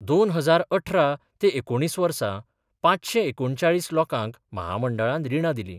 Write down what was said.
दोन हजार अठरा ते एकुणीस वर्सा पांचसे एकुणचाळीस लोकांक म्हामंडळान रिणां दिलीं.